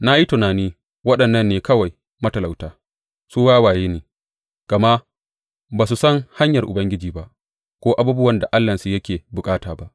Na yi tunani, Waɗannan ne kawai matalauta; su wawaye ne, gama ba su san hanyar Ubangiji ba, ko abubuwan da Allahnsu yake bukata ba.